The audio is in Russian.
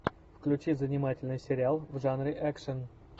включи занимательный сериал в жанре экшн